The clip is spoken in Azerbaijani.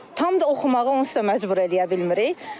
Tam da oxumağı onsuz da məcbur eləyə bilmirik.